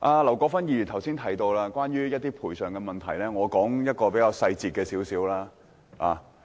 劉國勳議員剛才提到關於土地賠償的問題，我現在舉一個比較具體的例子。